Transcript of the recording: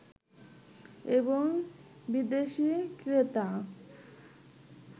এবং বিদেশী ক্রেতা